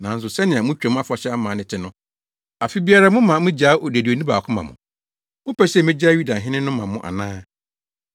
Nanso sɛnea mo Twam Afahyɛ amanne te no, afe biara moma migyaa odeduani baako ma mo. Mopɛ sɛ migyaa Yudafo hene no ma mo ana?”